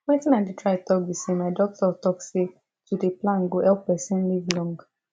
wetin i dey try talk be say my doctor talk say to dey plan go help person live long